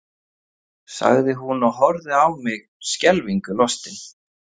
sagði hún og horfði á mig skelfingu lostin.